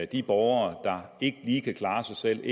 de borgere der ikke lige kan klare sig selv